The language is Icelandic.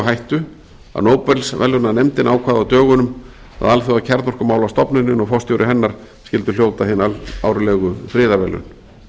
hættu að nóbelsverðlaunanefndin ákvað á dögunum að alþjóðakjarnorkumálastofnunin og forstjóri hennar skyldu hljóta hin árlegu friðarverðlaun